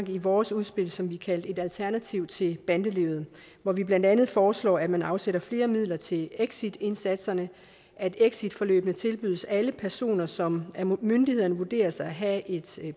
vi i vores udspil som vi kaldte et alternativ til bandelivet hvor vi blandt andet foreslår at man afsætter flere midler til exitindsatsen at exitforløbene tilbydes alle personer som af myndighederne vurderes at have et